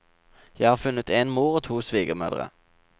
Jeg har funnet en mor og to svigermødre.